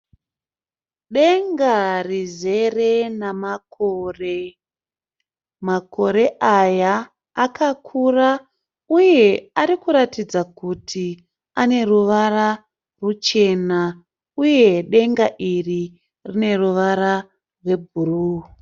Denga rizere namakore. Makore aya akakura uye arikuratidza kuti aneruvara ruchena. Uye denga iri rineruvara rwebhuruwu.